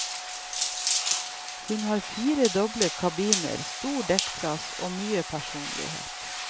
Hun har fire doble kabiner, stor dekkplass og mye personlighet.